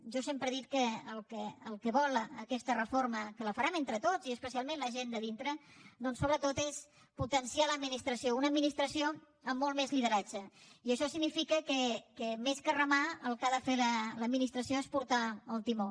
jo sempre he dit que el que vol aquesta reforma que la farem entre tots i especialment la gent de dintre doncs sobretot és potenciar l’administració una administració amb molt més lideratge i això significa que més que remar el que ha de fer l’administració és portar el timó